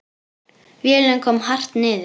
Vélin kom hart niður.